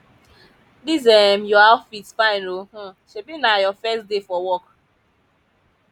dis um your outfit fine oo um shebi na your first day for work